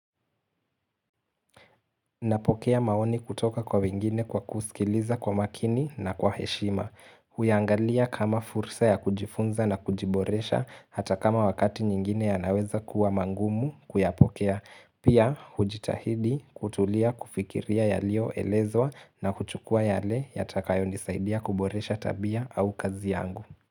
Napokea maoni kutoka kwa wengine kwa kusikiliza kwa makini na kwa heshima. Huyangalia kama fursa ya kujifunza na kujiboresha hata kama wakati nyingine ya naweza kuwa mangumu kuyapokea. Pia hujitahidi kutulia kufikiria yalio elezwa na kuchukua yale yatakayo nisaidia kuboresha tabia au kazi yangu.